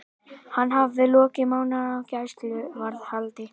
Hann hafði lokið mánaðarlöngu gæsluvarðhaldi.